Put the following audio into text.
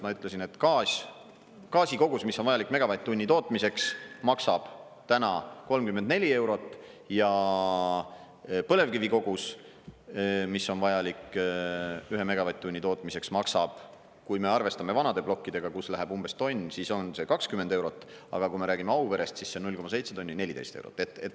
Ma ütlesin, et gaasi kogus, mis on vajalik megavatt-tunni tootmiseks, maksab täna 34 eurot ja põlevkivi kogus, mis on vajalik ühe megavatt-tunni tootmiseks, maksab, kui me arvestame vanade plokkidega, kus läheb umbes tonn, siis on see 20 eurot, aga kui me räägime Auverest, siis see 0,7 tonni, 14 eurot.